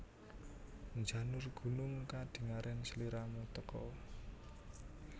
Njanur gunung kadingaren sliramu teka